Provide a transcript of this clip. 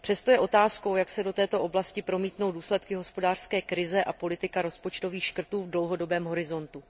Přesto je otázkou, jak se do této oblasti promítnou důsledky hospodářské krize a politika rozpočtových škrtů v dlouhodobém horizontu.